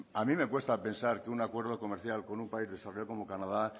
a mí me cuesta pensar que un acuerdo comercial con un país desarrollado como canadá